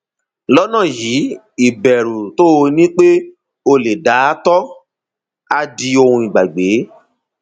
lọnà yìí ìbẹrù tó o ní pé o lè da ààtọ á di ohun ìgbàgbé